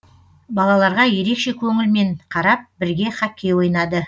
балаларға ерекше көңілмен қарап бірге хоккей ойнады